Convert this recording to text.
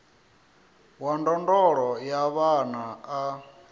wa ndondolo ya vhana a